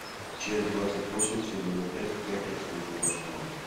часть двадцать восемь сезона пять как я встретил вашу маму